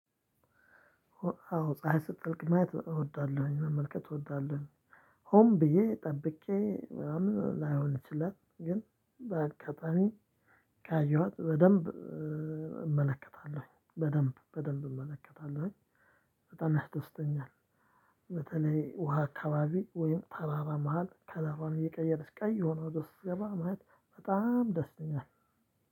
አዎ ፀሀይ ስጠልቅ ማየት እወዳለሁኝ መመልከት እወዳለሁኝ። ሆም ብዬ ጠብቄ ምናምን ላይሆን ይችላል ግን በአካባቢ ካየኋት በደንብ እመለከታለሁ በደንብ በደንብ እመለከታለሁ። በጣም ያስደስተኛል። በተለይ ውሃ አካባቢ ወይም ተራራ መሃል ከለሩዋን እየቀየረች ቀይ የሆነ ወደ ውስጥ ስትገባ ማየት በጣም ደስ ይለኛል።